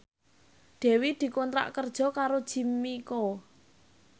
Dewi dikontrak kerja karo Jimmy Coo